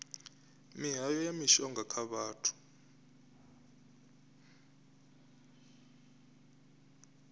mihayo na mishonga kha vhathu